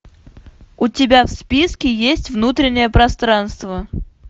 у тебя в списке есть внутреннее пространство